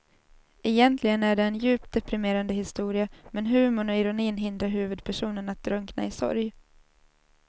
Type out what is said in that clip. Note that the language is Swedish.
Egentligen är det en djupt deprimerande historia men humorn och ironin hindrar huvudpersonen att drunkna i sorg.